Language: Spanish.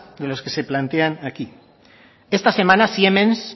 que lo que se plantean aquí esta semana siemens